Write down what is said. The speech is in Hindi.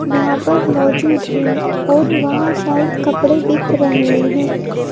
वहां पर मौजूद हैं और वहां शायद कपड़े बिक रहे हैं।